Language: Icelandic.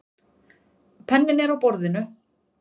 Penninn er á borðinu.